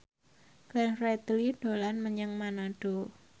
Glenn Fredly dolan menyang Manado